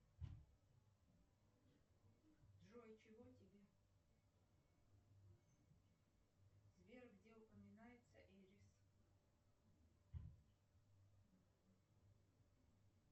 джой чего тебе сбер где упоминается эрис